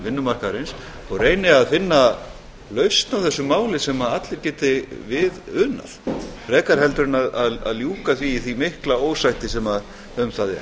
vinnumarkaðarins og reyni að finna lausn á þessu máli sem allir geti við unað frekar heldur en ljúka því í því mikla ósætti sem það er